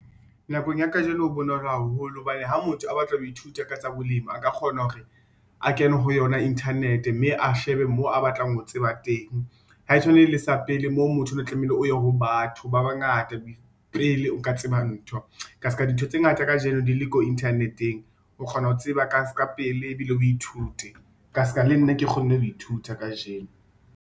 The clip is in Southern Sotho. Nakong ya kajeno ho bonolo haholo hobane ha motho a batla ho ithuta ka tsa bolemi, a ka kgona hore a kene ho yona internet mme a shebe mo a batlang ho tseba teng. Ha e tshwane le sa pele moo motho ne tlamehile o ye ho batho ba bangata pele o ka tseba ntho ka ska dintho tse ngata kajeno di le ko internet-eng o kgona ho tseba ka ska pele ebile o ithute ka ska le nna ke kgonne ho ithuta kajeno.